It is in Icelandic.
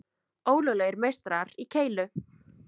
Ólöglegir meistarar í keilu